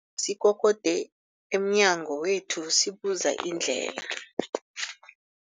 sikokode emnyango wethu sibuza indlela.